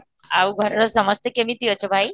ଆଉ ଘରର ସମସ୍ତେ କେମିତି ଅଛ ଭାଇ?